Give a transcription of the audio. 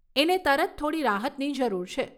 એને તરત થોડી રાહતની જરૂર છે.